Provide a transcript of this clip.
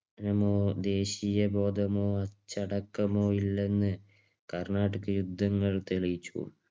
നമോ ദേശീയ ബോധമോ അച്ചടക്കമോ ഇല്ലെന്ന് കർണാട്ടിക് യുദ്ധങ്ങൾ തെളിയിച്ചു.